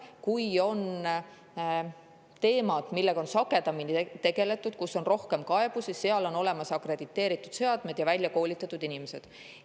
Kui on teemad, millega on sagedamini tegeletud ja mille kohta on rohkem kaebusi, siis seal on olemas akrediteeritud seadmed ja väljakoolitatud inimesed.